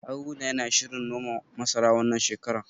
Haruna yana shirin noma masara, wannan shekarar.